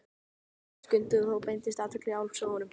Nú vaknaði Skundi og þá beindist athygli Álfs að honum.